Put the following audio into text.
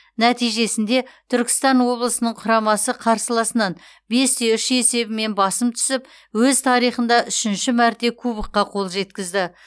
нәтижесінде түркістан облысының құрамасы қарсыласынан бес те үш есебімен басым түсіп өз тарихында үшінші мәрте кубокқа қол жеткізді